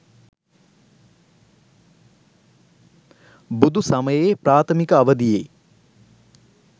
බුදුසමයේ ප්‍රාථමික අවධියේ